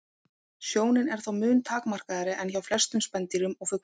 Sjónin er þó mun takmarkaðri en hjá flestum spendýrum og fuglum.